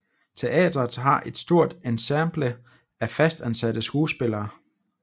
Teatret har et stort ensemble af fastansatte skuespillere